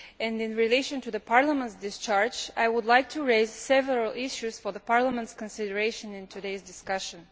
In relation to the Parliament's discharge, I would like to raise several issues for the Parliament's consideration in today's discussion.